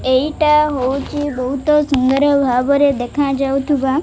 ଏଇଟା ହୋଉଚି ବହୁତ ସୁନ୍ଦର ଭାବରେ ଦେଖା ଯାଉଥିବା --